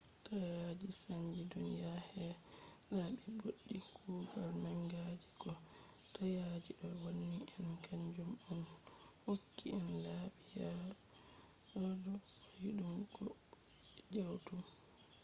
taayaji sanji duniya her laabi ɓoɗɗi. kuugal manga je ko taayaji ɗo wanni en kanjum on hokki en laabi yaadu koiɗum bo jawɗum